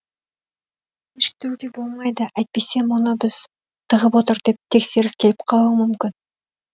кешіктіруге болмайды әйтпесе мұны біз тығып отыр деп тексеріс келіп қалуы мүмкін